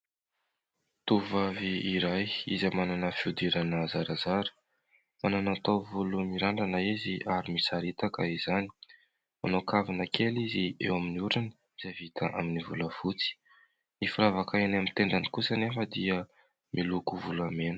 Tovovavy iray izay manana fihodirana zarazara. Manana tao volo mirandrana izy ary misaritaka izany. Manao kavina kely izy eo amin'ny orony, izay vita amin'ny volafotsy. Ny firavaka eny amin'ny tendany kosa anefa dia miloko volamena.